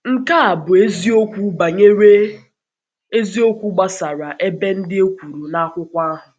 Nke a bụ Nke a bụ eziokwu banyere eziokwu gbasara ebe ndị um e kwuru na akwụkwọ ahụ.